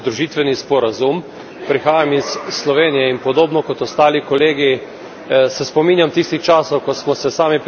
Prihajam iz Slovenije in podobno kot ostali kolegi se spomnjam tistih časov, ko smo se sami približevali Evropski uniji.